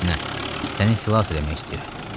Əksinə, səni xilas eləmək istəyirəm.